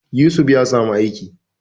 Yusuf ya samu aiki